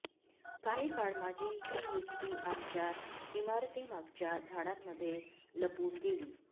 काही काळ माझी ही युक्ती आमच्या इमारतीमागच्या झाडांमध्ये लपून गेली